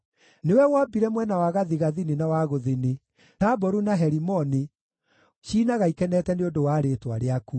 Nĩwe wombire mwena wa gathigathini na wa gũthini; Taboru na Herimoni ciinaga ikenete nĩ ũndũ wa rĩĩtwa rĩaku.